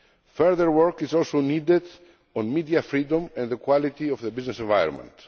Further work is also needed on media freedom and the quality of the business environment.